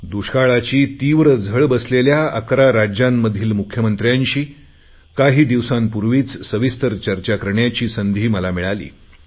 दुष्काळाची तीव्र झळ बसलेल्या 11 राज्यांमधील मुख्यमंत्र्यांशी काही दिवसांपूर्वीच सविस्तर चर्चा करण्याची संधी मला मिळाली